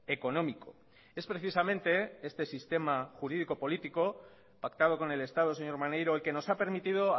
económico es precisamente este sistema jurídico político pactado con el estado señor maneiro el que nos ha permitido